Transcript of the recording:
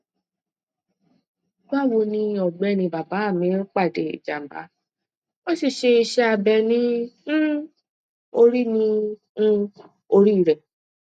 bawoni ọgbẹni bàbá mi pàdé ìjàmbá wọn sì ṣe iṣẹ abẹ ní um orí ní um orí rẹ